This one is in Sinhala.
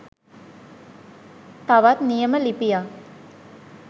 තවත් නියම ලිපියක්